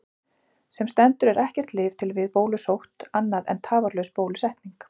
Sem stendur er ekkert lyf til við bólusótt annað en tafarlaus bólusetning.